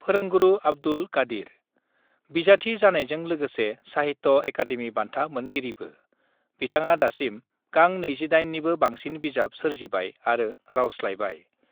फोरोंगुरु आब्दुल कादिर बिजाथि जानायजों लोगोसे साहित्य अकाडेमि बान्था मोनगिरिबो बिथाङा दासिम गां 28 निबो बांसिन बिजाब सोरजिबाय आरो रावस्लायबाय।